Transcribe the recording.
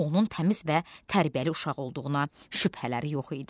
Onun təmiz və tərbiyəli uşaq olduğuna şübhələri yox idi.